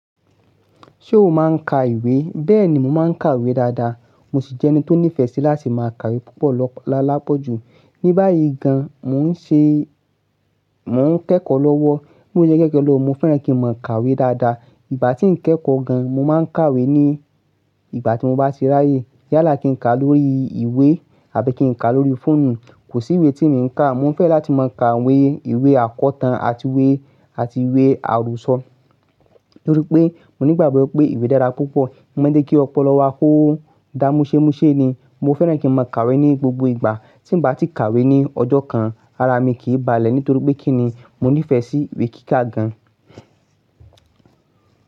Ṣé o máa ń ka ìwé? Bẹ́ẹ̀ni, mo máa ń kàwé dáadáa. Mo sì jẹ́ ẹni tó nífẹ̀ẹ́ sí láti máa kàwé púpọ̀ lọp-- lápapọ̀ jù. Ni báyìí gan, mò ń ṣe-- mò ń kẹ́kọ̀ọ́ lọ́wọ́. Lójúẹkẹ́kẹ́ lọ, mo fẹ́ràn kí n máa kàwé dáadáa. Ìgbà tí n kẹ́kọ̀ọ́ gan, mo máa ń kàwé ni ìgbà tí mo bá ṣe ráyè. Yálà kì í ka lórí ìwé àbí kì í ka lórí fóònù. Kò sí ìwé tí mi n ka. Mo fẹ́ran láti máa ka ìwé, ìwé akọ̀tàn àti ìwé, àti ìwé àròsọ. Nítorí pé, mo ní ìgbàgbọ́ pé ìwé dára púpọ̀. O má ń jẹ́ kí ọ̀pọ̀lọpọ̀ á kó dá múṣẹ́múṣe ni. Mo fẹ́ràn kí n máa kàwé ní gbogbo ìgbà. Tí n bá ti kàwé ní ọjọ́ kan, ara mi kì í báàlẹ̀ nítorí pé kí ni, mo nífẹ̀ẹ́ sí ìwé kíkà gan.